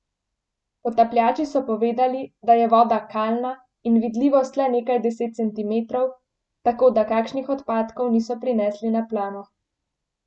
Potapljači so povedali, da je voda kalna in vidljivost le nekaj deset centimetrov, tako da kakšnih odpadkov niso prinesli na plano.